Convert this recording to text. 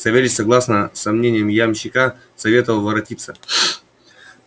савельич согласно со мнением ямщика советовал воротиться